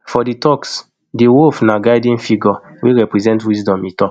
for di turks di wolf na guiding figure wey represent wisdom e tok